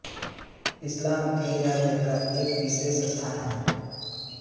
इस्लाम में ईरान का एक विशेष स्थान है